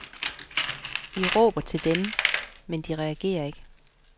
I råber til dem, men de reagerer ikke.